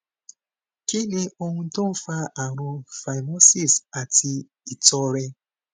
kí ni ohun tó ń fa àrùn phimosis àti itore